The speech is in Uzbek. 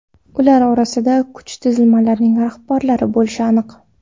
Ular orasida kuch tizimlarining rahbarlari bo‘lishi aniq.